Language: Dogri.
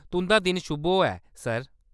तुंʼदा दिन शुभ होऐ, सर !